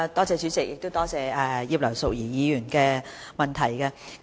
主席，感謝葉劉淑儀議員的補充質詢。